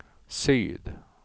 syd